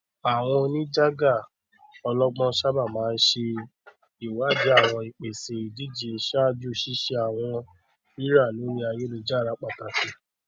àwọn oníjàgà ọlọgbọn sábà máa ń ṣe ìwádìí àwọn ìpèsè ìdíje ṣáájú ṣíṣe àwọn rírà lórí ayélujára pàtàkì